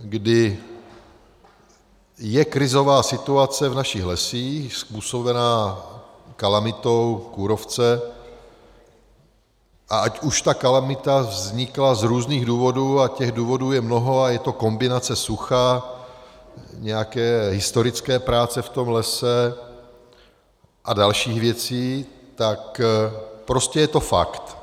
kdy je krizová situace v našich lesích způsobená kalamitou kůrovce, a ať už ta kalamita vznikla z různých důvodů, a těch důvodů je mnoho, a je to kombinace sucha, nějaké historické práce v tom lese a dalších věcí, tak prostě je to fakt.